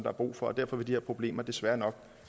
er brug for og derfor vil de her problemer desværre nok